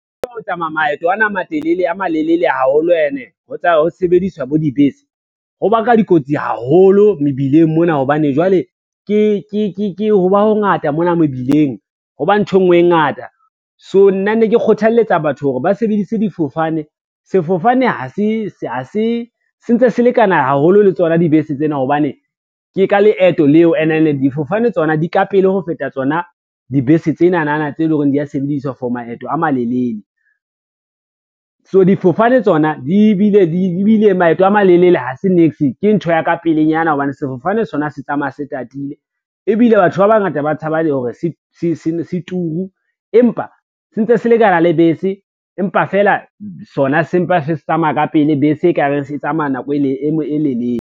Ho tsamaya maeto a malelele haholo ene ho sebediswa bo dibese, ho baka dikotsi haholo mebileng mona, hobane jwale ho ba ho ngata mona mebileng, ho ba nthwe ngwe e ngata, so nna ne ke kgothaletsa batho hore ba sebedise difofane. Sefofane se ntse se lekana haholo le tsona dibese tsena, hobane ke ka leeto leo and then difofane tsona di ka pele ho feta tsona dibese tsenana tse leng hore dia sebediswa for maeto a malelele. So difofane tsona di bile maeto a malelele ha se niks ke ntho ya ka pelenyana hobane sefofane sona se tsamaya se tatile, ebile batho ba bangata ba tshaba le hore se turu, empa se ntse se lekana le bese, empa fela sona sempa se se tsamaya ka pele bese e kare se tsamaya nako e lelele.